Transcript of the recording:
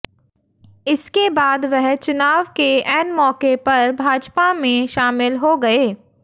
इसके बाद वह चुनाव के ऐन मौके पर भाजपा में शामिल हो गये